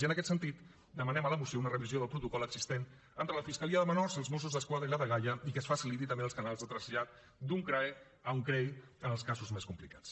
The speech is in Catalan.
i en aquest sentit demanem a la moció una revisió del protocol existent entre la fiscalia de menors els mossos d’esquadra i la dgaia i que es facilitin també els canals de trasllat d’un crae a un crei en els casos més complicats